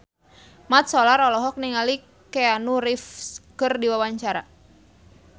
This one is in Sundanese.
Mat Solar olohok ningali Keanu Reeves keur diwawancara